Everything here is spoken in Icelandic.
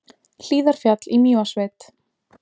Hlíðarfjall í Mývatnssveit.